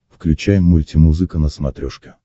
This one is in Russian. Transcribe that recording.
включай мультимузыка на смотрешке